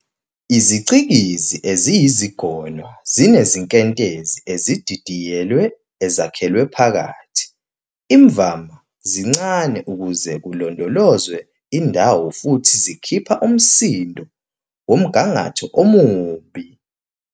Izicikizi eziyizigonwa zinezinkentezi ezididiyelwe ezakhelwe phakathi, imvama zincane ukuze kulondolozwe indawo futhi zikhipha umsindo womgangatho omubi.